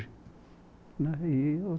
E...